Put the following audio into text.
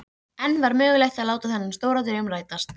En var mögulegt að láta þennan stóra draum rætast?